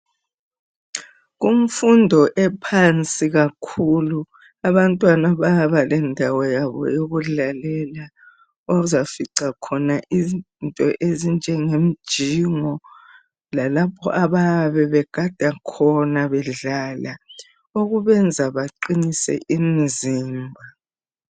Kumfundo ephansi kakhulu abantwana bayaba lendawo yabo yokudlalela ozafica khona izinto ezinjengemjingo lalapho abayabe begada khona bedlala. Okubenza beqinise imzimba.